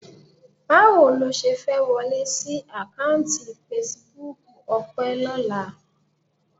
Báwo lo ṣe fẹ́ wọlé sí àkáùntì fesibúùkù Ọpẹ́ lọ́la?